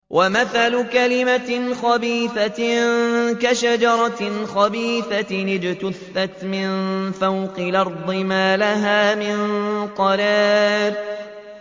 وَمَثَلُ كَلِمَةٍ خَبِيثَةٍ كَشَجَرَةٍ خَبِيثَةٍ اجْتُثَّتْ مِن فَوْقِ الْأَرْضِ مَا لَهَا مِن قَرَارٍ